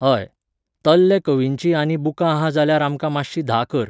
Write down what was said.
हय, तल्हे कवीचीं आनी बुकां आहा जाल्यार आमकां मातशीं धा कर .